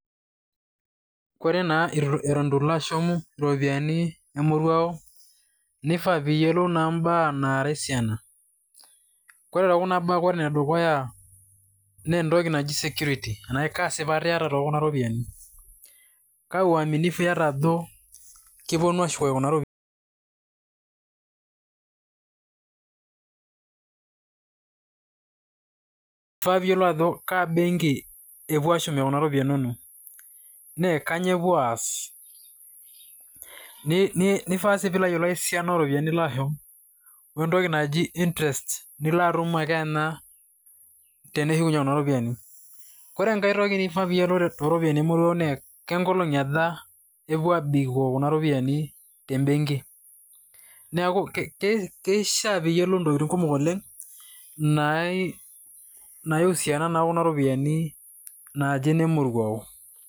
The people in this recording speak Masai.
Ore eton itu ilo ashum iropiyiani emoruao nifaa pee iyiolou imbaa naara esiana, ore tekuna baa ore enedukuya naa entoki naji security kaa sipata iata te kuna ropiyiani kaa uaminifu aiata ajo kepuo ashuku kuna ropiyiani, ifaa pee iyiolou ajo kaa benki epuo aashumie kuna ropiyiani inonok naa kainyioo epuo aas nifaa sii pee iyiolou esiana ooropiyiani nilo ashum oo entoki naji interest nilo atumteneshukunyie nena ropiyiani. Ore enkae toki niyiolou toorpiyiani emoruao naa kengolong'i aja epuo aabik kuna ropiyiani te benki, keishiaa pee iyiolou intokiting' kumok oleng' naiusiana naa okuna ropiyiani naaji ine moruao.